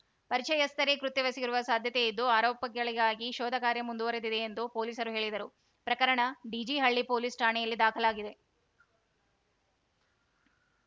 ಪರಿಚಯಸ್ಥರೇ ಕೃತ್ಯವೆಸಗಿರುವ ಸಾಧ್ಯತೆಯಿದ್ದು ಆರೋಪಿಗಳಿಗಾಗಿ ಶೋಧ ಕಾರ್ಯ ಮುಂದುವರಿದಿದೆ ಎಂದು ಪೊಲೀಸರು ಹೇಳಿದರು ಪ್ರಕರಣ ಡಿಜಿಹಳ್ಳಿ ಪೊಲೀಸ್‌ ಠಾಣೆಯಲ್ಲಿ ದಾಖಲಾಗಿದೆ